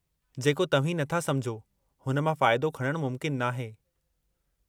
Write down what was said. जेको तव्हीं नथा समुझो हुन मां फ़ाइदो खणणु मुमकिन नाहे।